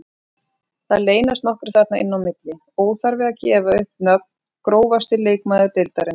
Það leynast nokkrir þarna inn á milli, óþarfi að gefa upp nöfn Grófasti leikmaður deildarinnar?